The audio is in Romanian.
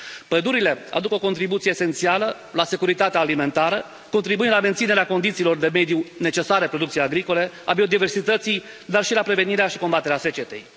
Pădurile aduc o contribuție esențială la securitatea alimentară, contribuind la menținerea condițiilor de mediu necesare producției agricole, a biodiversității, dar și la prevenirea și combaterea secetei.